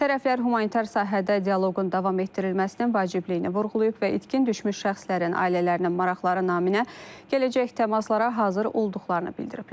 Tərəflər humanitar sahədə dialoqun davam etdirilməsinin vacibliyini vurğulayıb və itkin düşmüş şəxslərin ailələrin maraqları naminə gələcək təmaslara hazır olduqlarını bildiriblər.